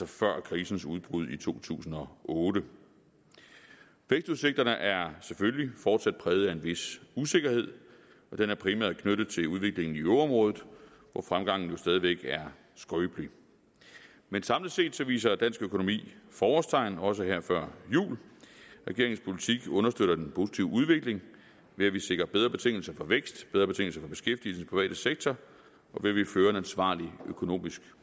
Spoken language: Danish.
før krisens udbrud i to tusind og otte vækstudsigterne er selvfølgelig fortsat præget af en vis usikkerhed og den er primært knyttet til udviklingen i euroområdet hvor fremgangen jo stadig væk er skrøbelig men samlet set viser dansk økonomi forårstegn også her før jul regeringens politik understøtter den positive udvikling ved at vi sikrer bedre betingelser for vækst bedre betingelser for beskæftigelse i den private sektor og ved at vi fører en ansvarlig økonomisk